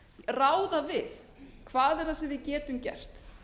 ráða við hvað er það sem við getum gert